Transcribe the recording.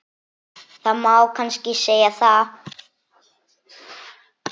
Það má kannski segja það.